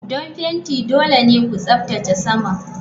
Don fenti dole ne ku tsaftace saman.